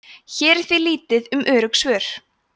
hér er því lítið um örugg svör